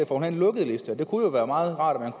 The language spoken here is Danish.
for en lukket liste det kunne være meget rart